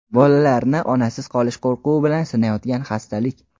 bolalarni onasiz qolish qo‘rquvi bilan sinayotgan xastalik.